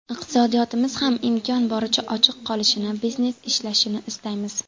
Iqtisodiyotimiz ham imkon boricha ochiq qolishini, biznes ishlashini istaymiz.